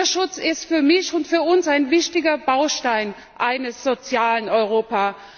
Mutterschutz ist für mich und für uns ein wichtiger Baustein eines sozialen Europa.